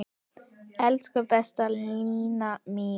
Elsku besta Lína mín.